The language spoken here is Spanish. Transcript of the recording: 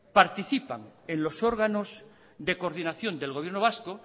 participan en los órganos de coordinación del gobierno vasco